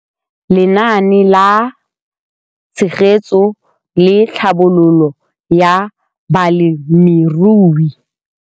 Lenaane la Tshegetso le Tlhabololo ya Balemirui